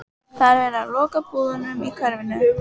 Það er verið að loka búðunum í hverfinu.